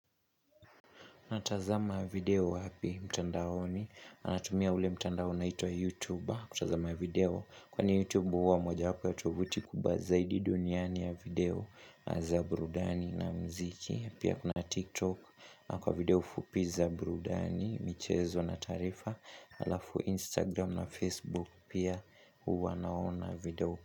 Natazama video wapi mtandaoni, natumia ule mtandaoni unaitwa YouTube, kutazama video, kwani YouTube huwa moja wapo ya tovuti kubwa zaidi duniani ya video za burudani na muziki, pia kuna TikTok, kwa video fupi za burudani, michezo na taarifa, halafu Instagram na Facebook pia huwa naona video.